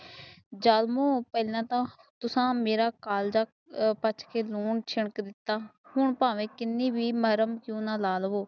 ਜ਼ਾਲਮੋਂ ਪਹਿਲਾਂ ਤਾਂ ਮਾਰਾ ਕਿਸਾਨ ਮਾਰਾ ਕਾਲਜਾ ਪੁੱਛ ਕੇ ਮੂੰਹ ਨੂੰ ਸੁੱਟ ਦਿਤਾ ਹੁਣ ਬਾਵੇ ਕੀਨੇ ਬੀ ਨਰਮ ਕਿਉ ਨਾ ਲਾ ਲਵੋ